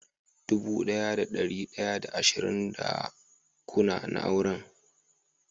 dubu daya da dari daya da ashirin da kuna na auren.